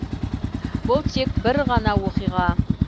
бұл тек бір ғана оқиға